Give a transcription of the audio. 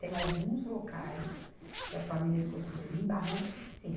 Tem alguns locais que as famílias construíram em barranco que sim,